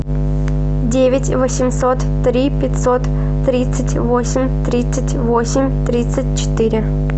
девять восемьсот три пятьсот тридцать восемь тридцать восемь тридцать четыре